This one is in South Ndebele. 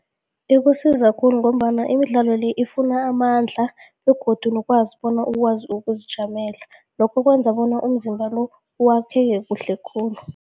Ikusiza khulu ngombana imidlalo le, ifuna amandla begodu nokwazi bona ukwazi ukuzijamela, lokho kwenza bona umzimba lo wakheke kuhle khulu.